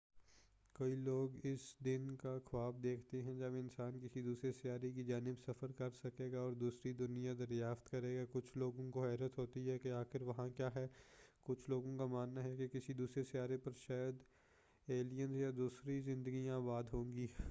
کئی لوگ اس دن کا خواب دیکھتے ہیں جب انسان کسی دوسرے سیارے کی جانب سفر کر سکےگا اور دوسری دنیا دریافت کریگا کچھ لوگوں کو حیرت ہوتی ہے کہ آخر وہاں کیا ہے کچھ لوگوں کا ماننا ہے کہ کسی دوسرے سیارے پر شاید الیینز یا دوسری زندگیاں آباد ہوں گی